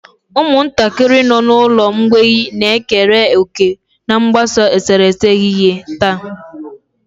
Ụmụntakịrị nọ n'ụlọ mgbei na-ekere òkè n'ogbako eserese n'ehihie taa.